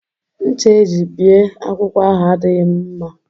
Ṅcha e ji bie akwụkwọ ahụ adịghị m mma